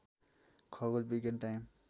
खगोल विज्ञान टाइम